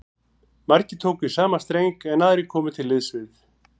Margir tóku í sama streng, en aðrir komu til liðs við